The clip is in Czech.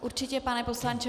Určitě, pane poslanče.